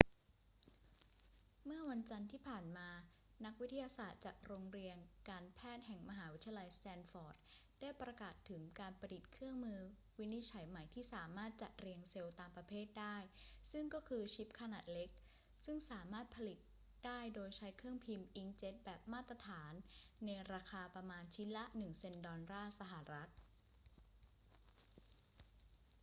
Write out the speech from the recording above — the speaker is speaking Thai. เมื่อวันจันทร์ที่ผ่านมา นักวิทยาศาสตร์จากโรงเรียนการแพทย์แห่งมหาวิทยาลัยสแตนฟอร์ดได้ประกาศถึงการประดิษฐ์เครื่องมือวินิจฉัยใหม่ที่สามารถจัดเรียงเซลล์ตามประเภทได้ ซึ่งก็คือชิปขนาดเล็กซึ่งสามารถผลิตได้โดยใช้เครื่องพิมพ์อิงค์เจ็ตแบบมาตรฐานในราคาประมาณชิ้นละหนึ่งเซ็นต์ดอลลาร์สหรัฐ